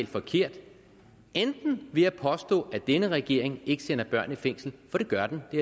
forkert enten ved at påstå at denne regering ikke sender børn i fængsel for det gør den det